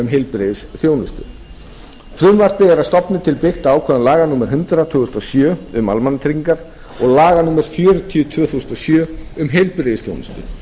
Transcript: heilbrigðisþjónustu frumvarpið er að stofni til byggt á ákvæðum laga númer hundrað tvö þúsund og sjö um almannatryggingar og laga númer fjörutíu tvö þúsund og sjö um heilbrigðisþjónustu